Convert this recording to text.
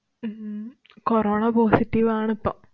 Hmm corona positive ആണിപ്പം.